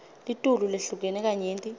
litulu lehlukene kanyenti